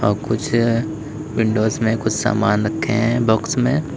कुछ विंडो में सामान रखे हैं बॉक्स मे।